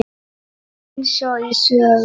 Eins og í sögu.